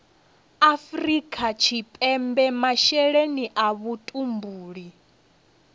afrika tshipembe masheleni a vhutumbuli